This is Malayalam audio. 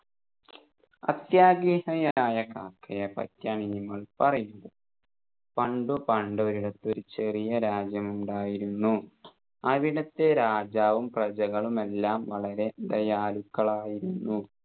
അത്യാഗ്രഹിയായ കാക്കയെ പറ്റിയാണ് ഇനി നമ്മൾ പറയുന്നത് പണ്ട് പണ്ട് ഒരിടത്ത് ഒരു ചെറിയ രാജ്യം ഉണ്ടായിരുന്നു അവിടെത്തെ രാജാവും പ്രജകളുമെല്ലാം വളരെ ദയാലുക്കളായിരുന്നു